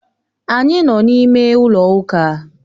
Anyị nọ n'ime ụlọ ụka.